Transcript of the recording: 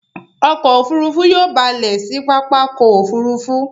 Ọkọ̀ òfurufú yóò ba lẹ̀ sí pápákọ̀ òfurufú.